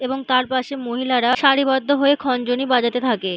এবং তার পাশে মহিলারা সারিবদ্ধ হয়ে খঞ্জনি বাজাতে থাকে।